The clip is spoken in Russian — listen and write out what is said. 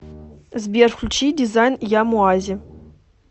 сбер включи дизайн ямоази